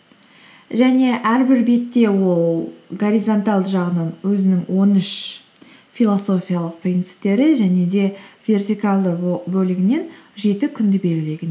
және әрбір бетте ол горизонталды жағынан өзінің он үш философиялық принциптерін және де вертикалды бөлігінен жеті күнді белгілеген